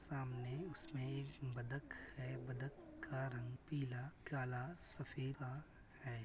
सामने उसमे एक बतख है। बतख का रंग पीला काला सफेदा है।